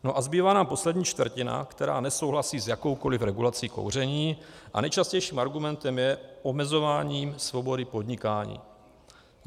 No a zbývá nám poslední čtvrtina, která nesouhlasí s jakoukoli regulací kouření, a nejčastějším argumentem je omezování svobody podnikání.